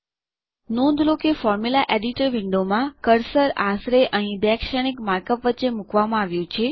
નોંધ લો કે ફોર્મ્યુલા એડિટર વિન્ડો માં કર્સર આશરે અહીં બે શ્રેણીક માર્કઅપ વચ્ચે મૂકવામાં આવ્યું છે